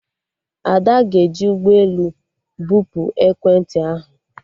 Ada ga-eji ụgbọelu bupu ekwentị ahụ